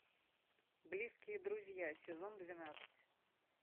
близкие друзья сезон двенадцать